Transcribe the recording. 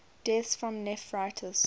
deaths from nephritis